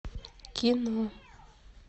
кино